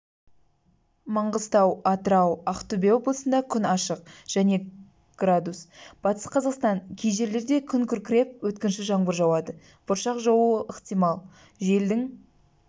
маңғыстау атырау ақтөбе облысында күн ашық және градус батыс қазақстан кей жерлерде күн күркіреп өткінші жаңбыр жауады бұршақ жаууы ықтимал желдің